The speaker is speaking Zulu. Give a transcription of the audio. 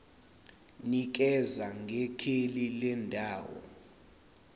nikeza ngekheli lendawo